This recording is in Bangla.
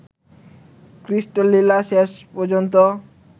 ক্লিষ্ট লীলা শেষ পর্যন্ত